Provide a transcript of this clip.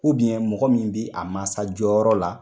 mɔgɔ min bi a maasa jɔyɔrɔ la